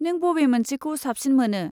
नों बबे मोनसेखौ साबसिन मोनो?